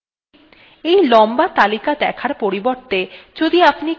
এই লম্বা তালিকা দেখার পরিবর্তে যদি আপনি কেবল শেষ দশটি দেখতে চান